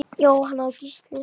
Jóhanna og Gísli.